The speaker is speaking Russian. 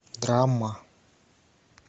драма